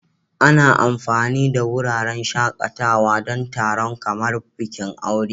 Ana amfani da wuraren shakatawa don taron kamar bikin aure.